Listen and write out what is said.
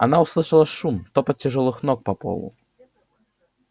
она услышала шум топот тяжёлых ног по полу